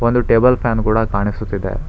ಒಂದು table fan ಕೂಡ ಕಾಣಿಸುತ್ತಿದೆ.